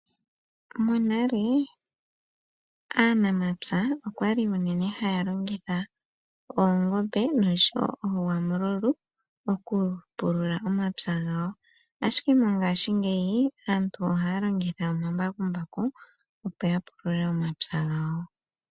Monale aanamapya oyali unene haya longitha oonani nosho wo oogwamululu okupulula omapya gawo ihe mongashingeyi aantu ohaya longitha omambakumbaku okupulula omapya gawo.